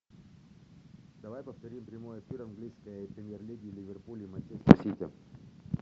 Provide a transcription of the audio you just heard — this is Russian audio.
давай повторим прямой эфир английской премьер лиги ливерпуль и манчестер сити